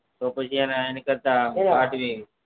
તો પછી એના એના કરતા ફાટવી